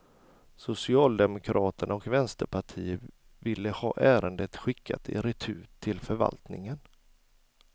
Socialdemokraterna och vänsterpartiet ville ha ärendet skickat i retur till förvaltningen.